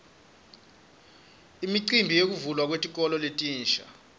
imicimbi yekuvulwa kwetikolo letintsa